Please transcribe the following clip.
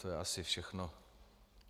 To je asi všechno.